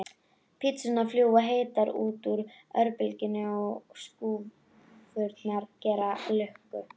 Pizzurnar fljúga heitar út úr örbylgjunni og skrúfurnar gera lukku.